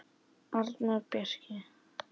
Arnór Bjarki.